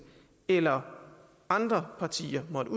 eller andre partier måtte